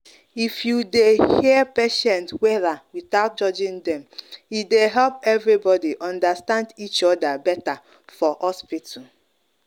if you dey hear patients wella without judging dem — e dey help everybody understand each other better for hospital.